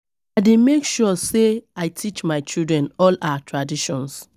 I dey make sure sey I teach my children all our traditions.